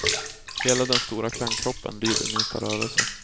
Hela den stora klangkroppen lyder minsta rörelse.